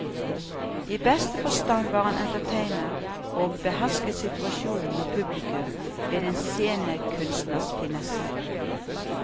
I beste forstand var han entertainer og behersket situasjonen og publikum med en scenekunstners finesser.